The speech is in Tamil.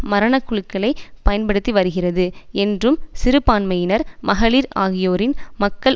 மரண குழுக்களை பயன்படுத்திவருகிறது என்றும் சிறுபான்மையினர் மகளிர் ஆகியோரின் மக்கள்